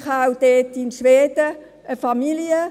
Ich habe dort in Schweden auch eine Familie.